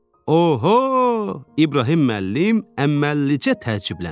Oho, İbrahim müəllim əməllilicə təəccübləndi.